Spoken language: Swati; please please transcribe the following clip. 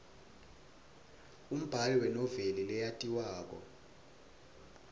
umbali wenoveli leyatiwako